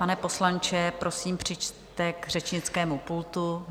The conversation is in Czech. Pane poslanče, prosím, přijďte k řečnickému pultu.